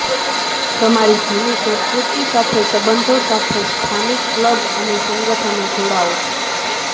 તમારી જૂની સંસ્કૃતિ સાથે સંબંધો સાથે સ્થાનિક ક્લબ અને સંગઠનો જોડાઓ